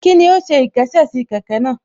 Kíni ó ṣe ìkésè sí kẹ̀kẹ́ náà